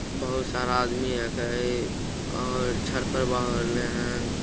बहुत सारा आदमी एक हय और छठ परवा न --